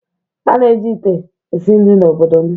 a na-eji ite esi nri n'obodo m